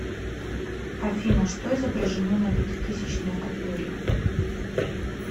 афина что изображено на пятитысячной купюре